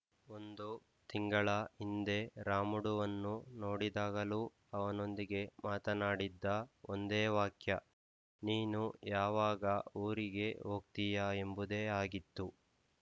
ಒಂದು ತಿಂಗಳ ಹಿಂದೆ ರಾಮುಡುವನ್ನು ನೋಡಿದಾಗಲೂ ಅವನೊಂದಿಗೆ ಮಾತನಾಡಿದ್ದ ಒಂದೇ ವಾಕ್ಯ ನೀನು ಯಾವಾಗ ಊರಿಗೆ ಹೋಗ್ತೀಯಾ ಎಂಬುದೇ ಆಗಿತ್ತು